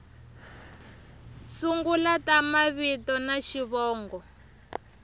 sungula ta mavito na xivongo